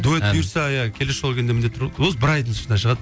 дуэт бұйырса иә келесі жолы келгенде міндетті ғой осы бір айдың ішінде шығады